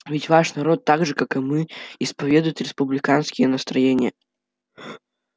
ведь ваш народ так же как и мы исповедует республиканские настроения